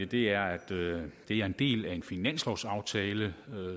det er at det er en del af en finanslovsaftale